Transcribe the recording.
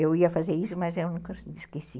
Eu ia fazer isso, mas eu nunca esqueci.